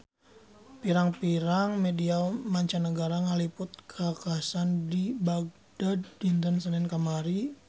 Pirang-pirang media mancanagara ngaliput kakhasan di Bagdad dinten Senen kamari